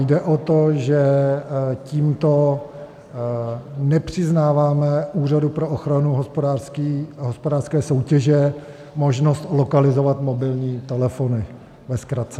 Jde o to, že tímto nepřiznáváme Úřadu pro ochranu hospodářské soutěže možnost lokalizovat mobilní telefony, ve zkratce.